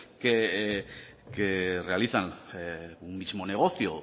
que realizan un mismo negocio